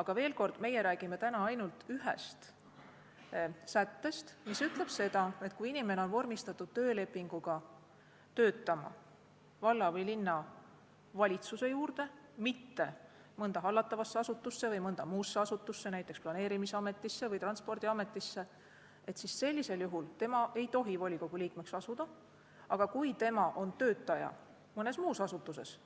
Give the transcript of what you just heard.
Aga veel kord: meie räägime täna ainult ühest sättest, mis ütleb, et kui inimene on vormistatud töölepinguga töötama valla- või linnavalitsuse juurde, mitte mõnda hallatavasse asutusse või mõnda muusse asutusse, siis sellisel juhul ta ei tohi volikogu liikmeks asuda, aga kui ta on mõne muu asutuse töötaja,